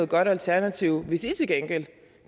godt alternativ hvis i til gengæld